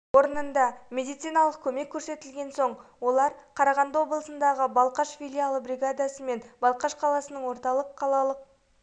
орнында медициналық көмек көрсетілген соң олар қарағанды облысындағы балқаш филиалы бригадасымен балқаш қаласының орталық қалалық